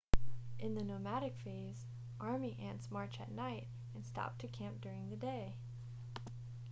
in the nomadic phase army ants march at night and stop to camp during the day